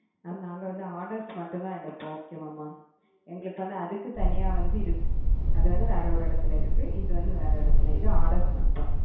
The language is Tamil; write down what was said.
mam நாங்க வந்து order ஸ் மட்டும் தான் எடுப்போம் okay வா mam எங்களுக்கு அதுக்கு தனியா வந்து இருக்கு அது வந்து வேற ஒரு எடத்துல இருக்கு இது வந்து வேற எடத்துல இது order ஸ் மட்டும்